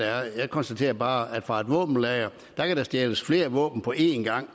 jeg konstaterer bare at fra et våbenlager kan der stjæles flere våben på én gang